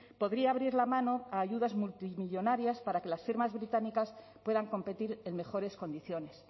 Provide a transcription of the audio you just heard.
podría abrir la mano a ayudas multimillónarias para que las firmas británicas puedan competir en mejores condiciones